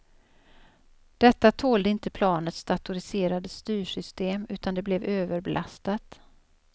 Detta tålde inte planets datoriserade styrsystem, utan det blev överbelastat.